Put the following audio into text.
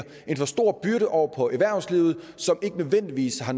en for stor byrde over på erhvervslivet som ikke nødvendigvis har